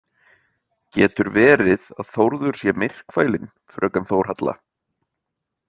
Getur verið að Þórður sé myrkfælinn, fröken Þórhalla?